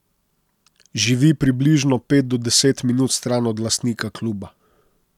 Živi približno pet do deset minut stran od lastnika kluba.